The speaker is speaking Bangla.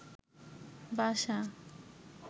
বাসা